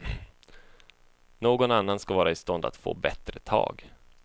Någon annan skall vara i stånd att få bättre tag.